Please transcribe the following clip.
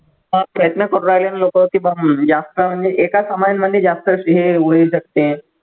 हा प्रयत्न करू राहिले ना लोकं की बा हम्म जास्त म्हणजे एकाच जास्त